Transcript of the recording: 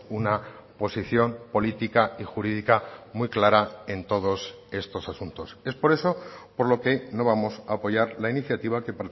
una posición política y jurídica muy clara en todos estos asuntos es por eso por lo que no vamos a apoyar la iniciativa que